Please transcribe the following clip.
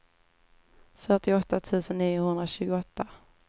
fyrtioåtta tusen niohundratjugoåtta